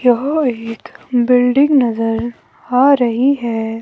यहां एक बिल्डिंग नजर आ रही है।